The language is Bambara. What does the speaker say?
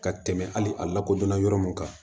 Ka tɛmɛ hali a lakodɔnna yɔrɔ mun kan